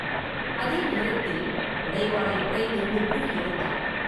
அதே நேரத்தில் உடைவாளை உறையிலிருந்து உருவி எடுத்தான்.